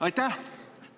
Aitäh!